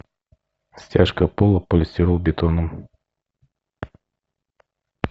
стяжка пола полистиролбетоном